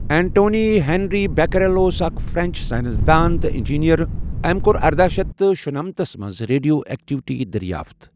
Antoine Henri Becquerel اوس اَکھ French science دان تہٕ اِنٛجیٖنر۔ أمۍ کۆر ارداہ شیتھ تہٕ شُنمتس منٛز ریڈیو ایکٹوٹی دٔریافت۔